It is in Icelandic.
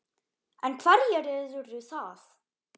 En hverjir eru það?